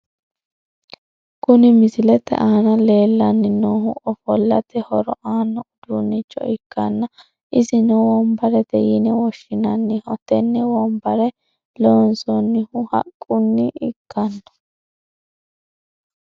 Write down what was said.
Kuni misilete aana leellanni noohu ofo'late horo aanno uduunnicho ikkanna , isino wombarete yine woshshinanniho , tenne wombare loonsoonnihu haqqunnni ikkanno.